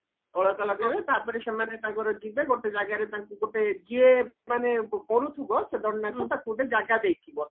ଅଳତା ଲଗେଇବେ ତାପରେ ସେମାନେ ତାଙ୍କର ଯିବେ ଗୋଟେ ଜାଗାରେ ତାଙ୍କୁ ଗୋଟେ ଯିଏ ମାନେ କରୁଥିବା ସେ ଦଣ୍ଡ ନାଚ ତାକୁ ଗୋଟେ ଜାଗା ଦେଇଥିବ